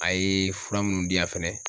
A ye fura munnu di yan fɛnɛ.